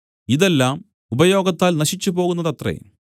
ഇതെല്ലാം ഉപയോഗത്താൽ നശിച്ചു പോകുന്നതത്രേ